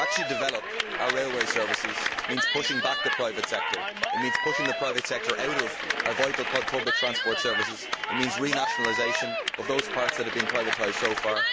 Developing our railway services means pushing back the private sector, it means pushing the private sector out of our vital public transport services, it means renationalisation of those parts that have been privatised so far.